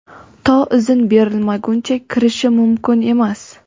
to izn berilmaguncha kirishi mumkin emas.